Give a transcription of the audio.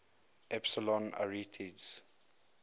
epsilon arietids